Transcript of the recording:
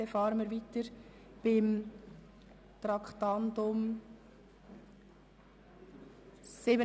Dann fahren wir mit dem Traktandum 77 weiter.